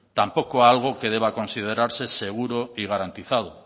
tampoco algo que deba considerarse seguro y garantizado